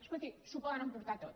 escolti s’ho poden emportar tot